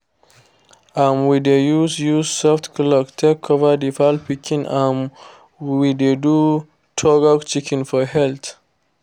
um we dey use use soft cloth take cover the fowl pikin um when we dey do thorough checkings for health